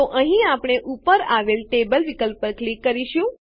તો અહીં આપણે ઉપર આવેલ ટેબલ વિકલ્પ પર ક્લિક કરીશું